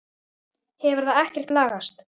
Hefur það ekkert lagast?